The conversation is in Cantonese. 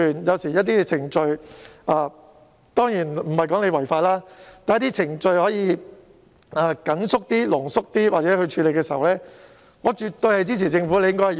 當然，我並不是說政府可以違法，但如果政府可以將某些程序壓縮處理，我絕對支持。